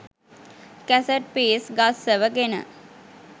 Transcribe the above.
cassette piece ගස්සවගෙන